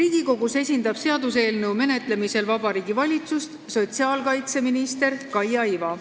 Seaduseelnõu menetlemisel Riigikogus esindab Vabariigi Valitsust sotsiaalkaitseminister Kaia Iva.